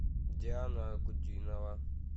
диана анкудинова